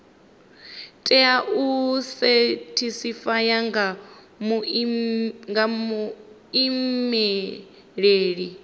tea u sethifaiwa nga muimeli